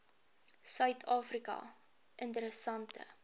suid afrika interessante